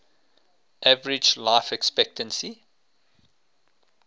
average life expectancy